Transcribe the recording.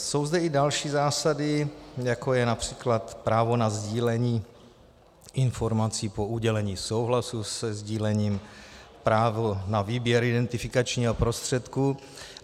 Jsou zde i další zásady, jako je například právo na sdílení informací po udělení souhlasu se sdílením, právo na výběr identifikačního prostředku.